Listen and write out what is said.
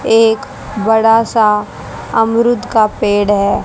एक बड़ा सा अमरूद का पेड़ है।